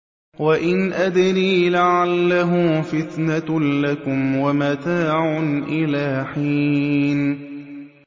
وَإِنْ أَدْرِي لَعَلَّهُ فِتْنَةٌ لَّكُمْ وَمَتَاعٌ إِلَىٰ حِينٍ